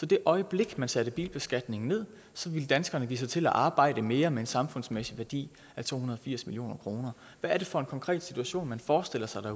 det øjeblik man satte bilbeskatningen ned ville danskerne give sig til at arbejde mere med en samfundsmæssig værdi af to hundrede og firs million kroner hvad er det for en konkret situation man forestiller sig